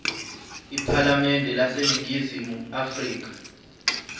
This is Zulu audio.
iphalamende laseningizimu afrika